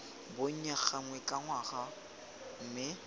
bonnye gangwe ka ngwaga mme